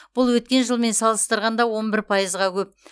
бұл өткен жылмен салыстырғанда он бір пайызы көп